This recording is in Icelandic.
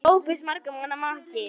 SOPHUS: Margra manna maki!